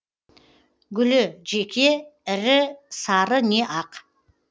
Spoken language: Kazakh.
гүлі жеке ірі сары не ақ